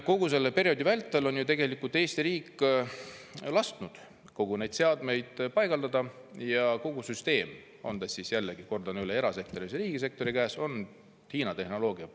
Kogu selle perioodi vältel on Eesti riik ju tegelikult lasknud kõik need seadmed paigaldada ja kogu süsteem, on ta siis, jällegi, kordan üle, erasektori või riigisektori käes, põhineb Hiina tehnoloogial.